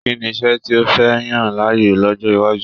Kínní iṣẹ tí o fẹ yan láàyò l'ọjọ iwájú?